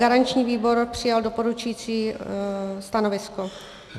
Garanční výbor přijal doporučující stanovisko.